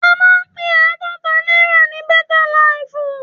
A máa ń pe àádọ́ta náírà ní bẹ́tá laìfù.